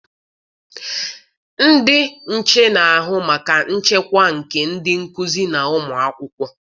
Ndị nche na-ahụ maka nchekwa nke ndị nkụzi na ụmụakwụkwọ.